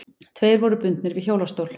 Tveir voru bundnir við hjólastól.